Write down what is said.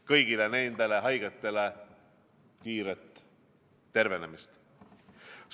Kõigile nendele haigetele kiiret tervenemist!